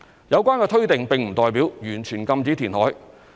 有關推定並不代表完全禁止填海。